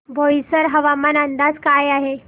बोईसर हवामान अंदाज काय आहे